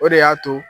O de y'a to